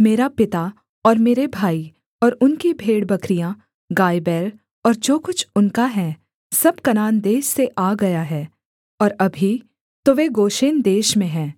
मेरा पिता और मेरे भाई और उनकी भेड़बकरियाँ गायबैल और जो कुछ उनका है सब कनान देश से आ गया है और अभी तो वे गोशेन देश में हैं